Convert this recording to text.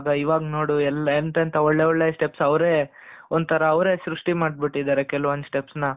ಇವಾಗ ನೋಡು ಎಂತ ಎಂತ ಒಳ್ಳೊಳ್ಳೆ steps ಅವರೇ ಒಂತರಾ ಅವರೇ ಸೃಷ್ಟಿ ಮಾಡ್ಬಿಟ್ಟಿದ್ದಾರೆ ಕೆಲವೊಂದು steps ನ,